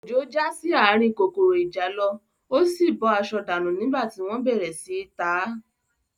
Òjó já sí ààrin kòkòrò ìjàlọ, ó sì bọ́ aṣọ dànù nígbà tí wọ́n bẹ̀rẹ̀ sí í ta á